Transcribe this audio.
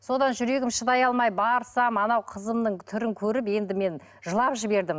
содан жүрегім шыдай алмай барсам анау қызымның түрін көріп енді мен жылап жібердім